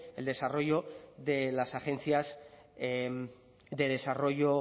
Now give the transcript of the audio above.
el desarrollo de las agencias de desarrollo